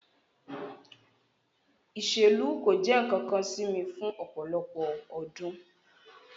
Iselu ko jẹ nkankan si mi fun ọpọlọpọ ọdun